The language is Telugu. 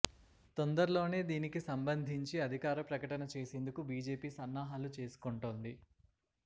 తొందర్లోనే దీనికి సంబంధించి అధికార ప్రకటన చేసేందుకు బీజేపీ సన్నాహాలు చేసుకుంటోంది